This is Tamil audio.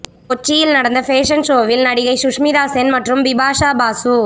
கொச்சியில் நடந்த ஃபேஷன் ஷோவில் நடிகை சுஷ்மிதா சென் மற்றும் பிபாஷா பாசு